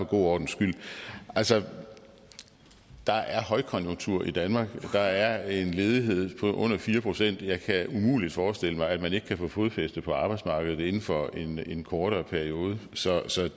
god ordens skyld altså der er højkonjunktur i danmark der er en ledighed på under fire procent jeg kan umuligt forestille mig at man ikke kan få fodfæste på arbejdsmarkedet inden for en kortere periode så